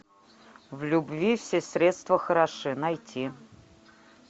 в любви все средства хороши найти